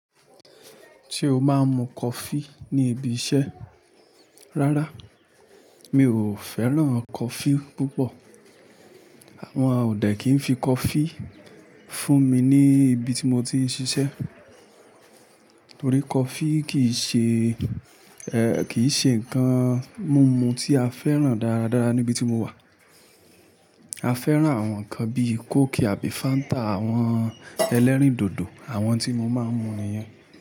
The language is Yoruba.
Se o máa ń mu coffee ní ibi iṣẹ́? Rárá, mi ò fẹ́ràn coffee púpọ̀. Wọn ọ dẹ kì n fi coffee fún mi ní ibi tí mo ti ń ṣiṣẹ́. Torí coffee kì í ṣe, kì í ṣe nǹkan mumu tí a fẹ́ràn dáradára níbi tí mo wà. A fẹ́ràn àwọn nǹkan bíi Cooki àbí Fanta, àwọn ẹlẹ́rìndòdò, àwọn tí mo máa ń mu nìyẹn.